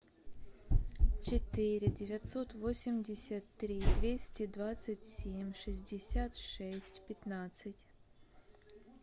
четыре девятьсот восемьдесят три двести двадцать семь шестьдесят шесть пятнадцать